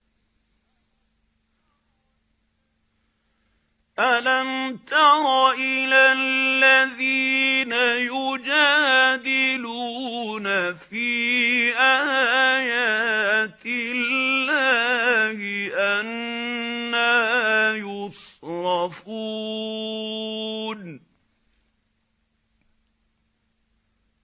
أَلَمْ تَرَ إِلَى الَّذِينَ يُجَادِلُونَ فِي آيَاتِ اللَّهِ أَنَّىٰ يُصْرَفُونَ